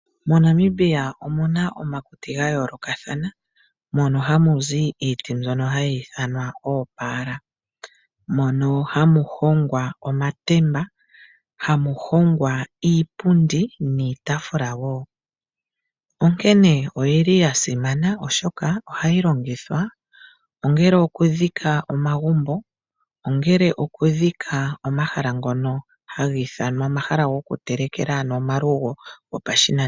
MoNamibia omuna omakuti gayoolokathana mono hamu zi iiti mbyono hayi ithanwa oopaala mono hamu hongwa omatemba, iipundi niitaafula woo. Onkene oyili yasimana oshoka ohayi longithwa ongele okudhika omagumbo, omahala ngono haga ithanwa omahala gokutelekela ano omalugo gopashinanena.